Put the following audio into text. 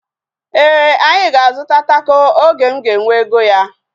Éè, anyị ga-azuta tako oge m ga-enwe ego ya